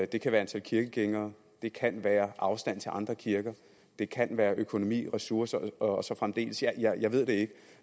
det kan være antal kirkegængere det kan være afstanden til andre kirker det kan være økonomi ressourcer og så fremdeles jeg jeg ved det ikke